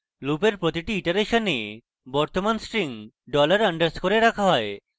লুপের প্রতিটি ইটারেশনে বর্তমান string $_ এ রাখা হয়